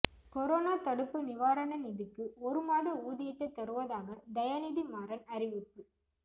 corona தடுப்பு நிவாரண நிதிக்கு ஒருமாத ஊதியத்தை தருவதாக தயாநிதிமாறன் அறிவிப்பு